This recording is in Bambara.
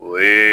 O ye